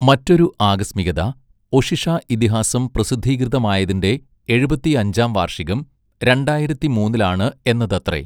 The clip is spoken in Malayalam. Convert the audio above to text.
മറ്റൊരു ആകസ്മികത, ഒഷിഷ ഇതിഹാസം പ്രസിദ്ധീകൃതമായതിന്റെ എഴുപത്തിഅഞ്ചാം വാർഷികം രണ്ടായിരത്തിമൂന്നിലാണ് എന്നതത്രെ.